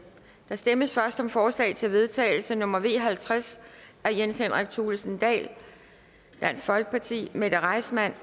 der stemmes først om forslag til vedtagelse nummer v halvtreds af jens henrik thulesen dahl mette reissmann